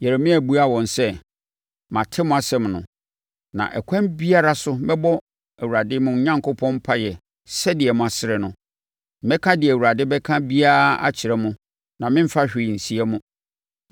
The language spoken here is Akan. Yeremia buaa wɔn sɛ, “Mate mo asɛm no, na ɛkwan biara so mɛbɔ Awurade mo Onyankopɔn mpaeɛ sɛdeɛ mo asrɛ no; mɛka deɛ Awurade bɛka biara akyerɛ mo na meremfa hwee nsie mo.”